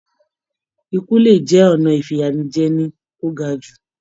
Ikú le jẹ ọnà ifiyajẹni to ga jù.